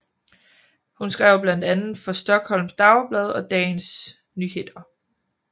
Hun skrev blandt andet for Stockholms Dagblad og Dagens Nyheter